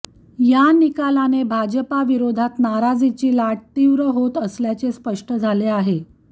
या निकालाने भाजपविरोधात नाराजीची लाट तीव्र होत असल्याचे स्पष्ट झाले आहे